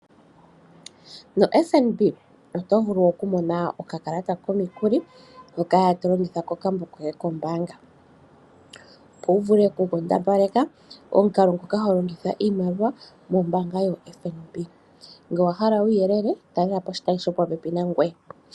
No FNB oto vulu okumona okakalata komikuli hoka tolongitha kokambo koye kombaanga, opo wuvule okukondopaleka omukalo ngoka holongitha iimaliwa mombaanga yo FNB ngele owahala uuyelele talelapo oshitayi shopopepi nangoye.